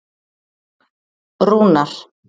Rúnar